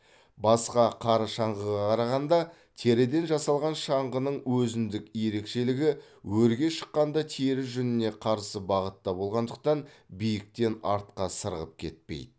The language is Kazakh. басқа қар шаңғыға қарағанда теріден жасалған шаңғының өзіндік ерекшелігі өрге шыққанда тері жүніне қарсы бағытта болғандықтан биіктен артқа сырғып кетпей